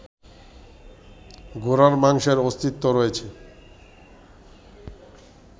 ঘোড়ার মাংসের অস্তিত্ব রয়েছে